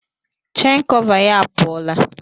Chen kọva ya apụọla.